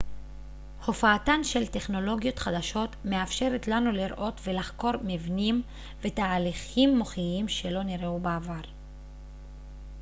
הופעתן של טכנולוגיות חדשות מאפשרת לנו לראות ולחקור מבנים ותהליכים מוחיים שלא נראו בעבר